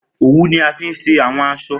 Owu ni a fi ṣe awọn aṣọ.